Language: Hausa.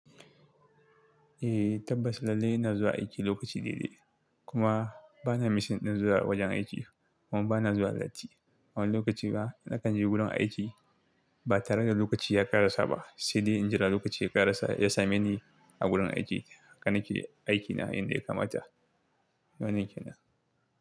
Eh tabbas lallai ina zuwa aiki lokaci daidai kuma bana misin din zuwa wajen aiki kuma bana zuwa latti. Wani lokaci ba, na kan je gurin aiki ba tare da lokaci ya karasa ba, sai dai in jira lokaci ya karasa ya same ni a gurin aiki. Haka nake aikina yanda ya kamata. Wannan kenan.